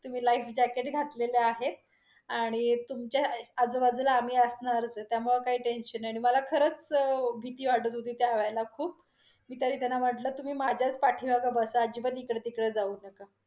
तुम्ही life jacket घातलेलं आहे, आणि तुमच्या आजूबाजूला आम्ही असणारच आहे. त्यामुळे काही tension नाही, आणि मला खरच भीती वाटत होती त्या वेळेला खूप. मी तरी त्यांना म्हटल तुम्ही माझ्याच पाठीमागे बसा अजिबात इकडतकड जाऊ नका.